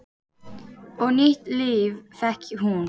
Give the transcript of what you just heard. Og nýtt líf fékk hún.